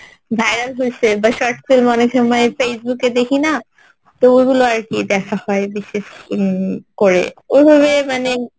viral হইছে বা short film অনেক সময় Facebook এ দেখিনা তো ওগুলো আরকি দেখা হয় বিশেষ উম করে ওইভাবে মানে